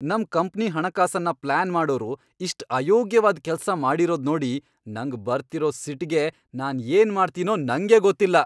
ನಮ್ ಕಂಪ್ನಿ ಹಣಕಾಸನ್ನ ಪ್ಲಾನ್ ಮಾಡೋರು ಇಷ್ಟ್ ಅಯೋಗ್ಯವಾಗ್ ಕೆಲ್ಸ ಮಾಡಿರೋದ್ ನೋಡಿ ನಂಗ್ ಬರ್ತಿರೋ ಸಿಟ್ಗೆ ನಾನ್ ಏನ್ ಮಾಡ್ತೀನೋ ನಂಗೇ ಗೊತ್ತಿಲ್ಲ!